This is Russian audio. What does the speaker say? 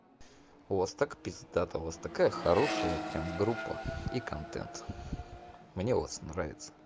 у вас так пиздато у вас такая хорошая прям группа и контент мне у вас нравится